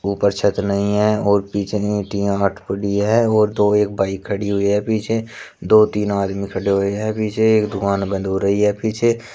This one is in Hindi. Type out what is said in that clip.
ऊपर छत नहीं है और पीछे तीन हॉट पड़ी है और तो एक बाइक खड़ी हुई है पीछे दो तीन आदमी खड़े हुए हैं विजय एक दुकान बंद हो रही है पीछे।